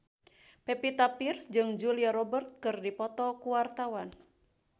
Pevita Pearce jeung Julia Robert keur dipoto ku wartawan